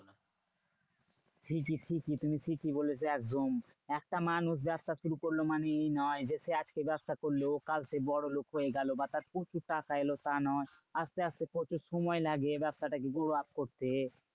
ঠিকই ঠিকই তুমি ঠিকই বলেছো একদম। একটা মানুষ ব্যবসা শুরু করলো মানে এই নয় যে, সে আজকে ব্যবসা করলো কাল সে বড় লোক হয়ে গেলো। বা তার প্রচুর টাকা এলো তা নয়। আসতে আসতে প্রচুর সময় লাগে ব্যবসাটাকে growup করতে।